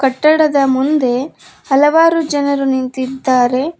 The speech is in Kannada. ಕಟ್ಟಡದ ಮುಂದೆ ಹಲವಾರು ಜನರು ನಿಂತಿದ್ದಾರೆ.